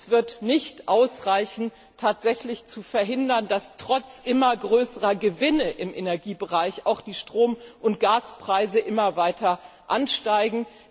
Es wird nicht ausreichen zu verhindern, dass trotz immer größerer Gewinne im Energiebereich die Strom und Gaspreise immer weiter ansteigen.